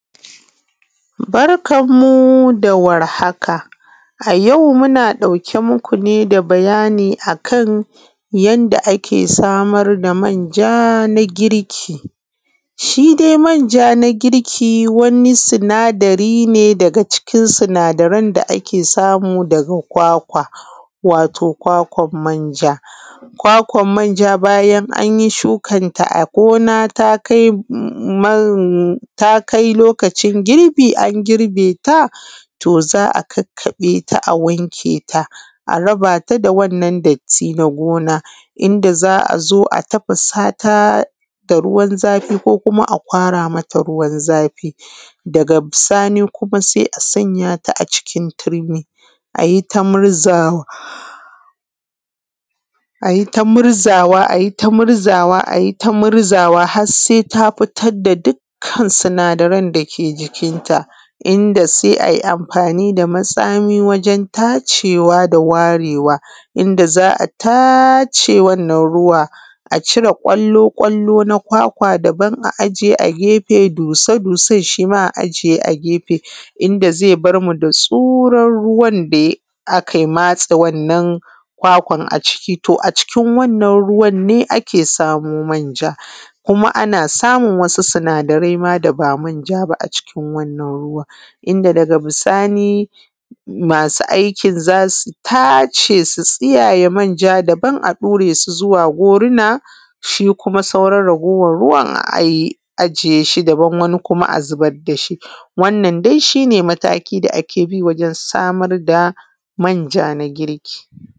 Barkanmu da warhaka, a yau muna ɗauke muku ne da bayani akan yanda ake samar da manja na girki. Shi dai manja na girki wani sinadari ne daga cikin sinadaran da ake samu ga kwakwa, wato kwakwan manja. Kwakwan manja bayan anyi shukanta a gona ta kai man, ta kai lokacin girbi an girbeta to za a kakkaɓeta a wanke ta, a rabata da wannan datti na gona, inda za a zo a tafasata da ruwan zafi ko a kwara ruwan zafi, daga bisani sai a sanyata a cikin turmi ayi ta murzawa, ayi ta murzawa, ayi ta murzawa, ayi ta murzawa har sai ta fitar da dukkan sinadaran dake jikinta, inda sai ayi amfani da matsami wajen tacewa da warewa inda za a tace wannan ruwa a cire ƙwallo-ƙwallo na kwakwa daban a aje a gefe, dusa-dusan shima a aje a gefe, inda zai barmu da tsuran ruwan da aka matse wannan kwakwan a ciki. To a cikin wannan ruwan ne ake samo manja, kuma ana samun wasu sinadarai ma daba manja ba a cikin wannan wannan ruwan ne ake samo manja, kuma ana samun wasu sinadarai ma daba manja ba a cikin wannan ruwan, inda daga bisani masu aikin za su tace su tsiyayye manja dabam a ɗure su zuwa goruna shi kuma sauran raguwan ruwan a ajiye shi, wani kuma a zubar dashi, wannan dai shi ne mataki da ake bi wajen samar da manja na girki.